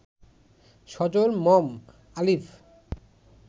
সজল, Mom, আলিফ